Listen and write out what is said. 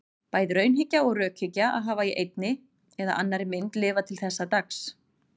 Bæði raunhyggja og rökhyggja hafa í einni eða annarri mynd lifað til þessa dags.